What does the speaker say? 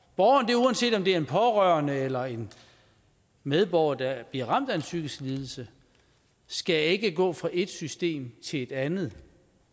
borgeren uanset om det er en pårørende eller en medborger der bliver ramt af en psykisk lidelse skal ikke gå fra et system til et andet